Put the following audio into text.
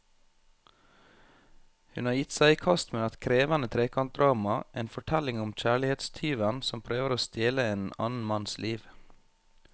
Hun har gitt seg i kast med et krevende trekantdrama, en fortelling om kjærlighetstyven som prøver å stjele en annen manns liv.